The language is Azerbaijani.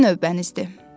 sizin növbənizdir.